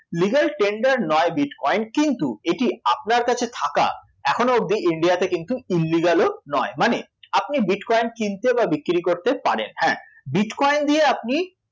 Legal tender নয় bitcoin কিন্তু এটি আপনার কাছে থাকা এখনও অবধি ইন্ডিয়াতে কিন্তু illegal ও নয় মানে আপনি bitcoin কিনতে বা বিক্রী করতে পারেন, হ্যাঁ bitcoin দিয়ে আপনি